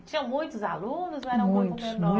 Tinha muitos alunos? muitos, muitos, ou era um grupo menor?